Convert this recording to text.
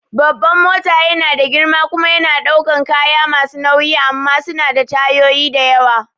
Babban mota yana da girma kuma yana ɗaukan kaya masu nauyi amma suna da tayoyi da yawa